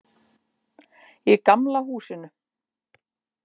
Í gamla húsinu.